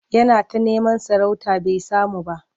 Yana ta neman sarauta bai samu ba.